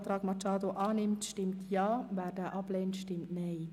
Absatz 5 (neu) zustimmt, stimmt Ja, wer diesen ablehnt, stimmt Nein.